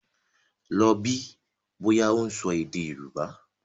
Lọ bí bọ́yá ó ń sọ èdè Yorùbá!